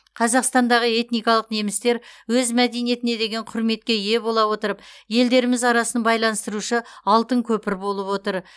қазақстандағы этникалық немістер өз мәдениетіне деген құрметке ие бола отырып елдеріміз арасын байланыстырушы алтын көпір болып отыр